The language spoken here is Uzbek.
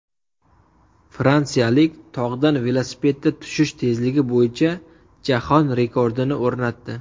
Fransiyalik tog‘dan velosipedda tushish tezligi bo‘yicha jahon rekordini o‘rnatdi.